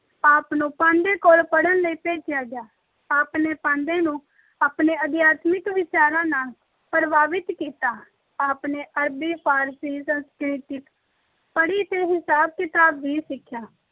ਆਪ ਨੂੰ ਪਾਂਧੇ ਕੋਲ ਪੜ੍ਹਨ ਲਈ ਭੇਜਿਆ ਗਿਆ। ਆਪ ਨੇ ਪਾਂਧੇ ਨੂੰ ਆਪਣੇ ਅਧਿਆਤਮਿਕ ਵਿਚਾਰਾਂ ਨਾਲ ਪ੍ਰਭਾਵਿਤ ਕੀਤਾ। ਆਪ ਨੇ ਅਰਬੀ, ਫਾਰਸੀ, ਸੰਸਕ੍ਰਿਤ ਪੜ੍ਹੀ ਤੇ ਹਿਸਾਬ-ਕਿਤਾਬ ਵੀ ਸਿੱਖਿਆ।